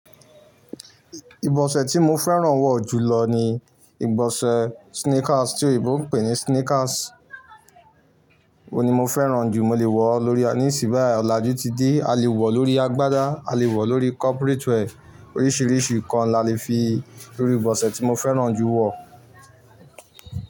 Ìbọ̀sẹ̀ tí mo fẹ́ràn wọ̀ jùlọ ni ìbọ̀sẹ̀ sneakers tí òyìnbó ń pè ní sneakers. Òun ni mo fẹ́ràn jù. Mo lè wọ̀ ọ́ lórí a níìsín, báyìí ọ̀làjú ti dé, a lè wọ̀ ọ́ lórí agbádá, a lè wọ̀ ọ́ lórí corporate wear. Oríṣìíríṣìí nǹkan la le fi rí ìbọ̀sẹ̀ tí mo fẹ́ràn jù wọ̀